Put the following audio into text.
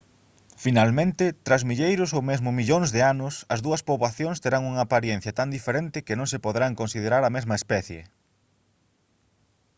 finalmente tras milleiros ou mesmo millóns de anos as dúas poboacións terán unha aparencia tan diferente que non se poderán considerar a mesma especie